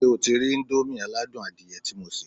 Ṣé o ti rí íńdómì aládùn adìyẹ tí mo sè?